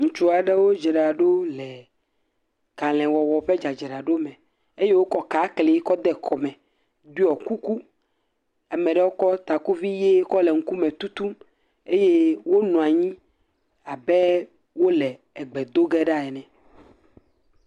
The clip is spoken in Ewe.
Ŋutsu aɖewo dzra ɖo le kalẽ wɔwɔ ƒe dzadzraɖo me eye wokɔ kakli kɔ de kɔme. Ɖɔ kuku eye ame aɖewo kɔ takuvi kɔ le ŋkume tutum eye wonɔ anyi abe wole egbe do ge ɖa ene.